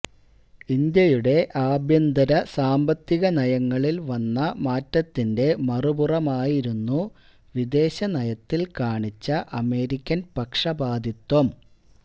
ഇന്ത്യയുടെ ആഭ്യന്തര സാമ്പത്തിക നയങ്ങളില് വന്ന മാറ്റത്തിന്റെ മറുപുറമായിരുന്നു വിദേശ നയത്തില് കാണിച്ച അമേരിക്കന് പക്ഷ പാതിത്വം